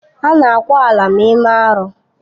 Ana ákwà ala ma eme arụ.